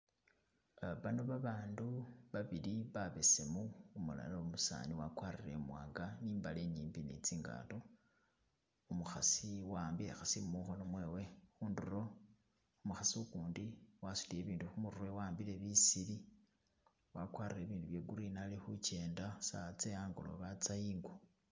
Ah bano babandu babili babesemu umulala umusani wakwarire imwanga ni imbale inyimbi ne tsingato, umukhasi a'ambile khasimu mukhono mwewe knundulo umukhasi ukundi wasutile ibintu khumurwe wa'ambile bisili wakwarire ibindu bye green ali khu kenda saawa tse a'ngolobe atsa ingo